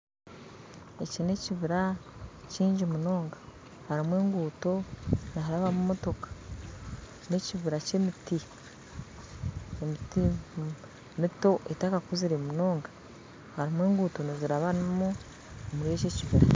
Eki n'ekibiira kyingi munonga harimu enguuto niharabamu emotooka n'ekibira ky'emiti mito etakakuzire munonga harimu enguuto nizirabanamu omuri eki ekibira